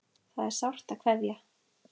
Það er sárt að kveðja.